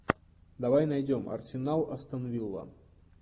давай найдем арсенал астон вилла